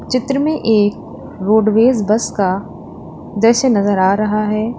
चित्र में एक रोडवेज बस का दृश्य नजर आ रहा है।